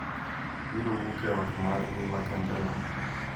biro wuok e ot margi makende no.